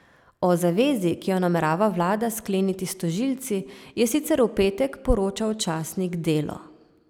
O zavezi, ki jo namerava vlada skleniti s tožilci, je sicer v petek poročal časnik Delo.